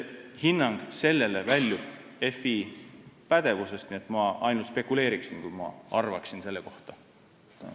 Hinnang väljub FI pädevusest, nii et ma ainult spekuleeriksin, kui midagi selle kohta arvaksin.